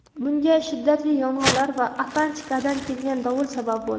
Bunga shiddatli yomg‘irlar va Atlantikadan kelgan dovul sabab bo‘ldi.